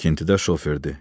Tikintidə şoferdir.